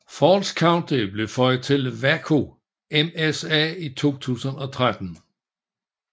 Falls County blev føjet til Waco MSA i 2013